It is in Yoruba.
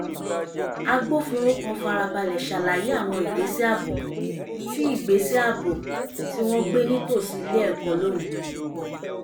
agbófinró kan farabalẹ̀ ṣàlàyé àwọn ìgbésẹ̀ ààbò tí ìgbésẹ̀ ààbò tí wọ́n gbé nítòsí ilé ẹ̀kọ́ lónìí